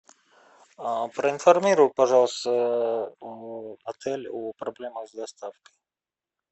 проинформируй пожалуйста отель о проблемах с доставкой